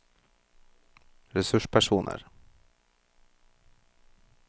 ressurspersoner